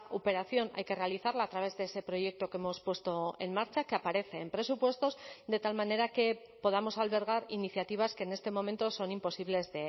operación hay que realizarla a través de ese proyecto que hemos puesto en marcha que aparece en presupuestos de tal manera que podamos albergar iniciativas que en este momento son imposibles